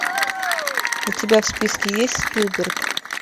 у тебя в списке есть спилберг